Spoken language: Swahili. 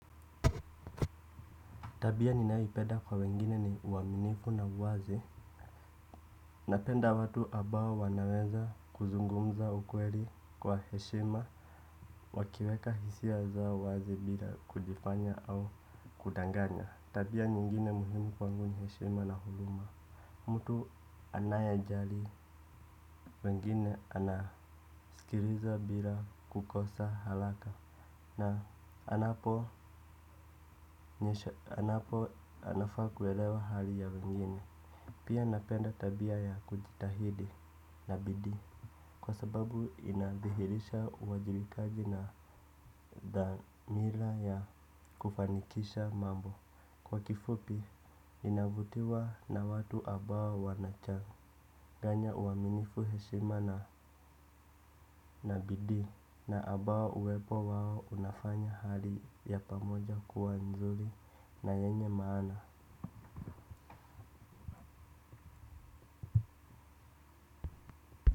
Tabia ninaipeda kwa wengine ni uaminifu na uwazi. Napenda watu ambao wanaweza kuzungumza ukweli kwa heshima. Wakiweka hisia za wazi bila kujifanya au kudanganya. Tabia nyingine muhimu kwa wenyeshima na huruma. Mtu anaejali. Wengine anaskiliza bila kukosa haraka na anapo anapo anafaa kuelewa hali ya wengine. Pia napenda tabia ya kujitahidi na bidii. Kwa sababu inadhihirisha uwajibikaji na dhamila ya kufanikisha mambo. Kwa kifupi navutiwa na watu ambao wanachanganya uaminifu, heshimana na bidii. Na ambao uwepo wao unafanya hali ya pamoja kuwa nzuri na yenye maana.